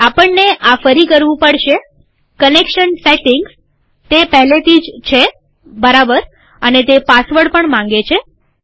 આપણને આ ફરી કરવું પડશેકનેક્શન સેટીંગ્સતે પહેલેથી જ છેબરાબરઅને તે પાસવર્ડ પણ માંગે છે